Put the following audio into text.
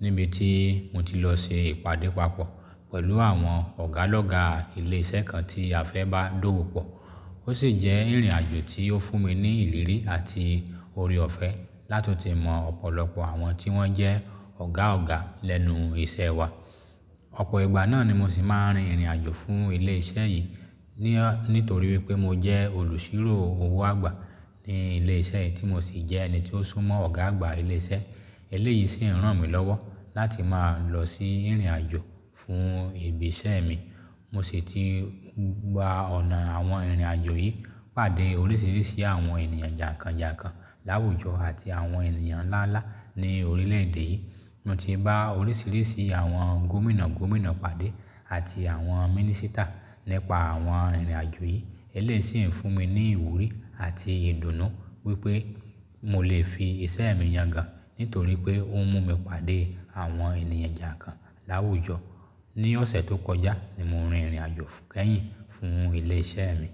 níbi tí mo ti lọ ṣe ìpàdé papọ̀ pẹ̀lú àwọn ọ̀gá lọ́gá ilé iṣẹ́ kan tí a fẹ́ bá dówòpọ̀. Ó sì jẹ́ ìrìn àjò tí ó fún mi ní ìrírí àti oore ọ̀fẹ́ lá tún tì mọ ọ̀pọ̀lọpọ̀ àwọn tí wọ́n jẹ́ ọ̀gá ọ̀gá lẹ́nu iṣẹ́ wa. Ọ̀pọ̀ ìgbà náà ni mo sì máa ń rin ìrìn àjò fún ilé iṣẹ́ yìí, ní torí wípé mo jẹ́ olùṣírò owó àgbà ní ilé iṣẹ́ yìí tí mo sì jẹ́ ẹni tí ó súnmọ́ ọ̀gá àgbà ilé iṣẹ́. Eléyìí sì ń ràn mí lọ́wọ́ láti máa lọ sí ìrìn àjò fún ibi iṣẹ́ mi. Mo sì ti gba ọ̀nà àwọn ìrìn àjò yìí pàdé oríṣiríṣi àwọn ènìyàn jàǹkàn jàǹkàn láwùjọ àti àwọn ènìyàn ńlá ńlá ní orílẹ̀ èdè yìí. Mo ti bá oríṣiríṣi àwọn gómìnà gómìnà pàdé àti àwọn mínísítà nípa àwọn ìrìn àjò yìí. Eléyìí sì ń fún mi ní ìwúrí àti ìdùnnú wípé mo lè fi iṣẹ́ mi yangàn nítorí pé ó ń mú mi pàdé àwọn ènìyàn jàǹkàn láwùjọ. Ní ọ̀sẹ̀ tó kọjá ni mo rin ìrìn àjò kẹ́yìn fún ilé iṣẹ́ mi.